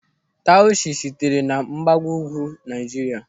Taushe sitere na Mgbagougwu Naịjirịa.